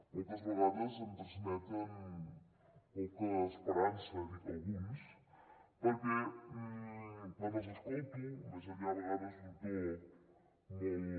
moltes vegades em transmeten poca esperança dic alguns perquè quan els escolto més enllà a vegades d’un to molt